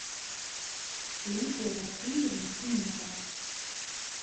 лидия васильевна семенова